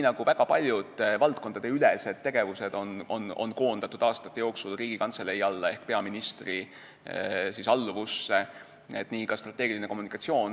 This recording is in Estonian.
Väga paljud valdkondadeülesed tegevused on aastate jooksul koondatud Riigikantselei alla ehk peaministri alluvusse ja nii on tehtud ka strateegilise kommunikatsiooniga.